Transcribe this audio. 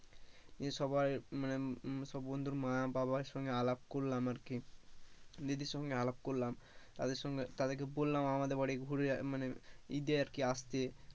সবাই মানে বন্ধুর মা বাবার সঙ্গে আলাপ করলাম আরকি দিদির সঙ্গে আলাপ করলাম তাদের সঙ্গে তাদেরকে বললাম আমাদের বাড়ি ঘুরে মানে ঈদ এ আর কি আসতে,